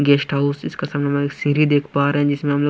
guest house इस के सामने में एक सीढ़ी देख पा रहे हैं जिसमें हम लोग--